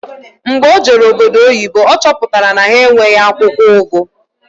Mgbe o jere obodo oyibo ọ chọpụtara na ha enweghị akwụkwọ ugu